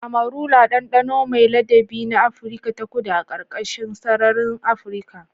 Amarula: ɗanɗano mai ladabi na Afirka ta Kudu a ƙarƙashin sararin Afirka.